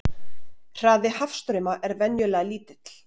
Hraði hafstrauma er venjulega lítill.